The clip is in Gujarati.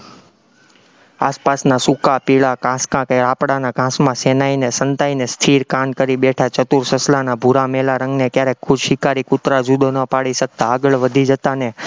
આસપાસના સૂકા-પીળા ઘાસ કે આકડાના ઘાસમાં સેનાઈને સંતાઈને સ્થિર કાન કરી બેઠા ચતુર સસલાના ભૂરા મેલા રંગને ક્યારેક કુશિકારી કુતરા જુદો ન પડી શકતા ને આગળ વધી જતા ને